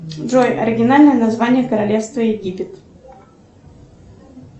джой оригинальное название королевства египет